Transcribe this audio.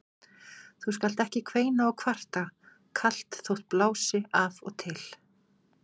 Þú skalt ekki kveina og kvarta kalt þótt blási af og til.